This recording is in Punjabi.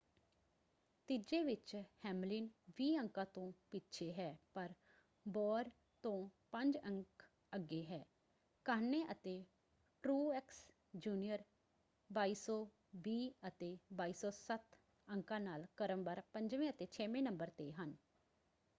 ਤੀਜੇ ਵਿੱਚ ਹੈਮਲਿਨ ਵੀਹ ਅੰਕਾਂ ਤੋਂ ਪਿੱਛੇ ਹੈ ਪਰ ਬੋਅਰ ਤੋਂ ਪੰਜ ਅੰਕ ਅੱਗੇ ਹੈ। ਕਾਹਨੇ ਅਤੇ ਟ੍ਰੂਐਕਸ ਜੂਨੀਅਰ 2,220 ਅਤੇ 2,207 ਅੰਕਾਂ ਨਾਲ ਕ੍ਰਮਵਾਰ ਪੰਜਵੇਂ ਅਤੇ ਛੇਵੇਂ ਨੰਬਰ ‘ਤੇ ਹਨ।